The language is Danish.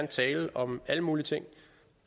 tale om alle mulige ting